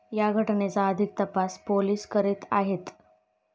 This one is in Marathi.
या घटनेचा अधिक तपास पोलिस करीत आहेत.